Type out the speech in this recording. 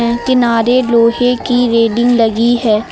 किनारे लोहे की रेलिंग लगी है।